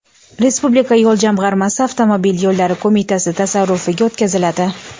Respublika yo‘l jamg‘armasi Avtomobil yo‘llari qo‘mitasi tasarrufiga o‘tkaziladi.